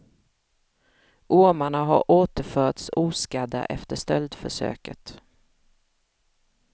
Ormarna har återförts oskadda efter stöldförsöket.